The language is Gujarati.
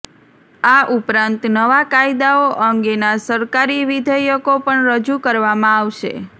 આ ઉપરાંત નવા કાયદાઓ અંગેના સરકારી વિધેયકો પણ રજૂ કરવામાં આવશે